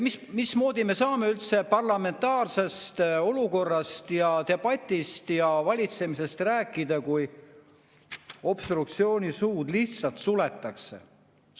Mismoodi me saame üldse parlamentaarsest olukorrast ja debatist ja valitsemisest rääkida, kui opositsiooni suud lihtsalt suletakse?